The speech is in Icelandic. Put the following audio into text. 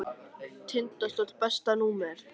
Tindastóll Besta númer?